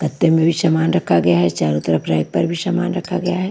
गत्ते में भी सामान रखा गया है चारों तरफ रैक पर भी समान रखा गया है।